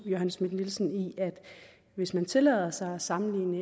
johanne schmidt nielsen i at hvis man tillader sig at sammenligne